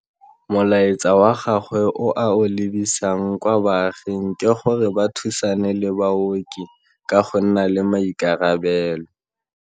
Molaetsa wa gagwe o a o lebisang kwa baaging ke gore ba thusane le baoki ka go nna le maikarabelo.